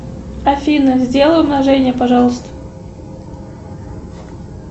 афина сделай умножение пожалуйста